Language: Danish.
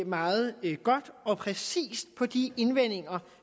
meget godt og præcist på de indvendinger